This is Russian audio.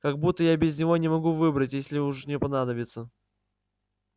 как будто я без него не могу выбрать если уж мне понадобится